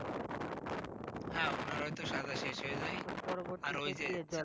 হাঁ, ওনার হয়তো সাজা শেষ হয়ে যায় আর ওই যে